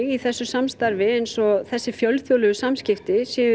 í þessu samstarfi eins og þessi fjölþjóðlegu samskipti séu í